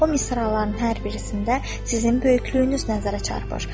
O misraların hər birisində sizin böyüklüyünüz nəzərə çarpar.